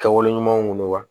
Kɛwale ɲumanw don wa